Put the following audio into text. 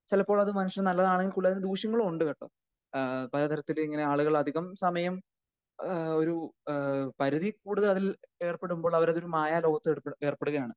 ചിലപ്പോൾ അത് മനുഷ്യൻ നല്ലതാണെങ്കിൽ കൂടെ ഗുണദോഷങ്ങളും ഉണ്ട് കേട്ടോ ഏഹ് പലതരത്തിൽ ഇങ്ങനെ ആളുകൾ അധികം സമയം ഏഹ് ഒരു ഏഹ് ഒരു പരിധിയിൽ കൂടുതൽ അതിൽ ഏർപ്പെടുമ്പോൾ അവർ ഒരു മായാലോകത്ത് ഏർപ്പെടുകയാണ്.